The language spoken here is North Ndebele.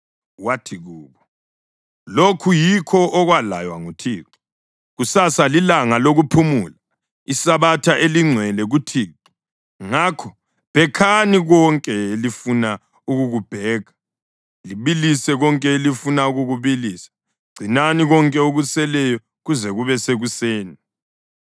Wathi kubo, “Lokhu yikho okwalaywa nguThixo: ‘Kusasa lilanga lokuphumula iSabatha elingcwele kuThixo. Ngakho bhekhani konke elifuna ukukubhekha, libilise konke elifuna ukukubilisa. Gcinani konke okuseleyo kuze kube sekuseni.’ ”